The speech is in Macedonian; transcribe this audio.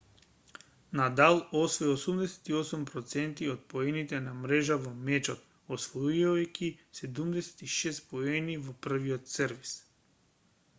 надал освои 88 % од поените на мрежа во мечот освојувајќи 76 поени во првиот сервис